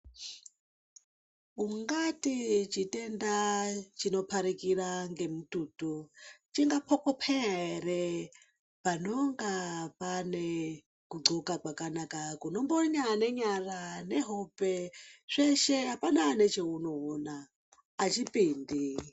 Ungati chitenga chingaparikira ngemututu chingapopeya ere, panonga pane kudhloka kwakanaka kunombonya nenyara nehope zveshe hapana nechaunoona hachipindi.